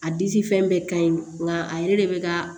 A disi fɛn bɛɛ ka ɲi nka a yɛrɛ de bɛ ka